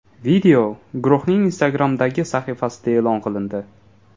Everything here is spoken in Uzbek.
Video guruhning Instagram’dagi sahifasida e’lon qilindi.